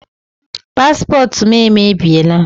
Paspọtụ m emebiela.